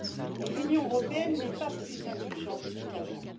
et l'Union européenne n'est pas plus indulgente qu'avant.